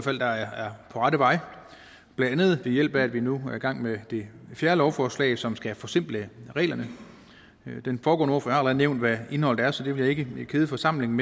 rette vej blandt andet ved hjælp af at vi nu er i gang med det fjerde lovforslag som skal forsimple reglerne den foregående ordfører har allerede nævnt hvad indholdet er så det vil jeg ikke kede forsamlingen